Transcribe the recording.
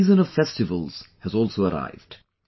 The season of festivals has also arrived